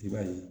I b'a ye